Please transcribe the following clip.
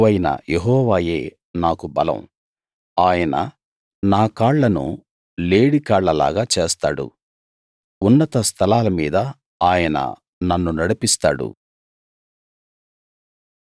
ప్రభువైన యెహోవాయే నాకు బలం ఆయన నా కాళ్లను లేడికాళ్లలాగా చేస్తాడు ఉన్నత స్థలాల మీద ఆయన నన్ను నడిపిస్తాడు